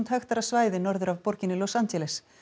hektara svæði norður af borginni Los Angeles